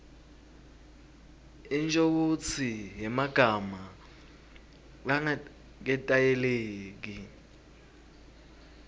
inshokutsi yemagama langaketayeleki